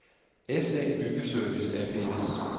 SA Byggeservice ApS